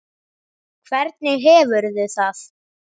Hvernig hefurðu það?